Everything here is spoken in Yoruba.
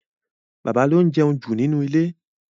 Bàbá ló ń jẹun jù nínú ilé.